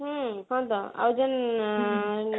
ହୁଁ ହଁ ତ ଆଉ ଆଁ ଯେନ ଆଁ